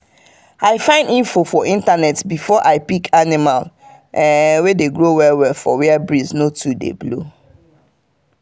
i find info for internet before i pick animal wey dey grow well for where breeze no dey too blow.